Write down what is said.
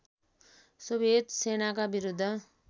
Soviet सेनाका विरुद्ध